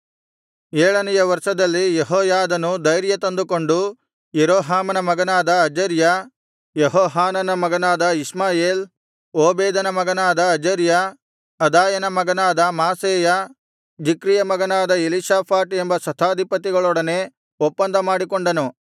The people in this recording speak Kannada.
ಏಳನೆಯ ವರ್ಷದಲ್ಲಿ ಯೆಹೋಯಾದನು ಧೈರ್ಯತಂದುಕೊಂಡು ಯೆರೋಹಾಮನ ಮಗನಾದ ಅಜರ್ಯ ಯೆಹೋಹಾನಾನನ ಮಗನಾದ ಇಷ್ಮಾಯೇಲ್ ಓಬೇದನ ಮಗನಾದ ಅಜರ್ಯ ಅದಾಯನ ಮಗನಾದ ಮಾಸೇಯ ಜಿಕ್ರಿಯ ಮಗನಾದ ಎಲೀಷಾಫಾಟ್ ಎಂಬ ಶತಾಧಿಪತಿಗಳೊಡನೆ ಒಪ್ಪಂದ ಮಾಡಿಕೊಂಡನು